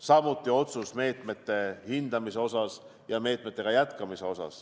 Samuti tehti otsus meetmete hindamise ja meetmetega jätkamise kohta.